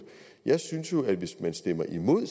jeg synes jo at hvis man stemmer imod at